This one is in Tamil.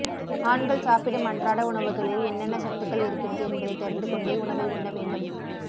ஆண்கள் சாப்பிடும் அன்றாட உணவுகளில் என்னென்ன சத்துக்கள் இருக்கிறது என்பதை தெரிந்து கொண்டே உணவை உண்ண வேண்டும்